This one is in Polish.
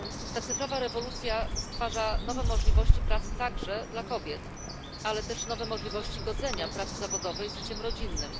Ta cyfrowa rewolucja stwarza nowe możliwości pracy także dla kobiet, ale też nowe możliwości godzenia pracy zawodowej z życiem rodzinnym.